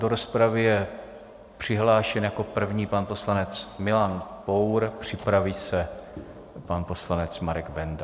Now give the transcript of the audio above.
Do rozpravy je přihlášen jako první pan poslanec Milan Pour, připraví se pan poslanec Marek Benda.